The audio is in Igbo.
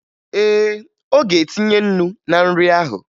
Ee, ọ ga-etinye ńnú na nri ahụ